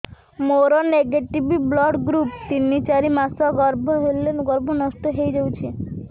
ମୋର negative blood group ତିନ ଚାରି ମାସ ଗର୍ଭ ହେଲେ ଗର୍ଭ ନଷ୍ଟ ହେଇଯାଉଛି